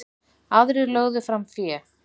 Aðrir lögðu fram fé.